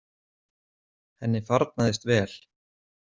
Henni farnaðist vel.